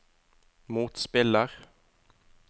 motspiller